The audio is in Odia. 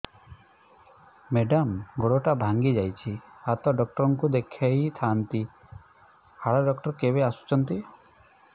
ମେଡ଼ାମ ଗୋଡ ଟା ଭାଙ୍ଗି ଯାଇଛି ହାଡ ଡକ୍ଟର ଙ୍କୁ ଦେଖାଇ ଥାଆନ୍ତି ହାଡ ଡକ୍ଟର କେବେ ଆସୁଛନ୍ତି